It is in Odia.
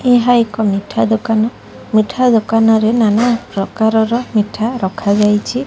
ଏହା ଏକ ମିଠା ଦୋକାନ ମିଠା ଦୋକାନ ରେ ନାନା ପ୍ରକାର ର ମିଠା ରଖାଯାଇଚି।